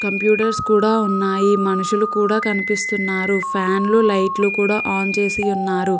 Computers కూడా ఉన్నాయి మనుషులు కూడా కనిపిస్తున్నారు ఫ్యాన్లు లైట్లు కూడా ఆన్ చేసియున్నారు.